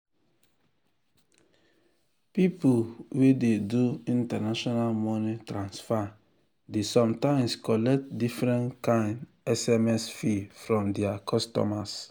people wey dey do international money transfer dey sometimes collect different kind sms fee from their customers.